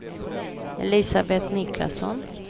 Elisabet Niklasson